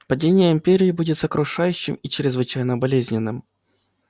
падение империи будет сокрушающим и чрезвычайно болезненным